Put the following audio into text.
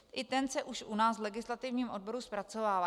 I ten se už u nás v legislativním odboru zpracovává.